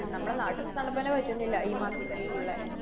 നമ്മടെ നാട്ടിത്തെ തണപ്പന്നെ പറ്റുന്നില്ല. ഈ മാസത്തെലീലുള്ളെ